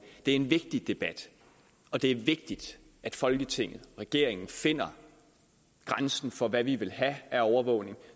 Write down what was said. det er en vigtig debat og det er vigtigt at folketinget og regeringen finder grænsen for hvad vi vil have af overvågning